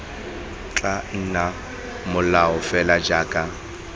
tla nna molao fela jaaka